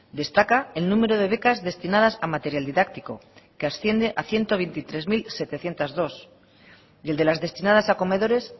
destaca el número de becas destinadas a material didáctico que asciende a ciento veintitrés mil setecientos dos y el de las destinadas a comedores